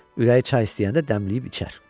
Ürəyi çay istəyəndə dəmliyib içər.